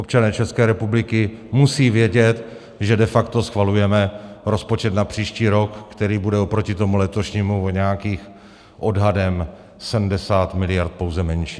Občané České republiky musí vědět, že de facto schvalujeme rozpočet na příští rok, který bude oproti tomu letošnímu o nějakých odhadem 70 mld. pouze menší.